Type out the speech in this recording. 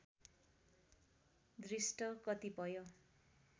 दृष्ट कतिपय